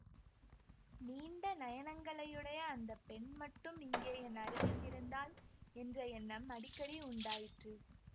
நீண்ட நயனங்களையுடைய அந்த பெண் மட்டும் இங்கே என் அருகில் இருந்தால் என்ற எண்ணம் அடிக்கடி உண்டாயிற்று